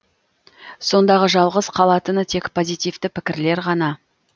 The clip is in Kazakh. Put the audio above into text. сондағы жалғыз қалатыны тек позитивті пікірлер ғана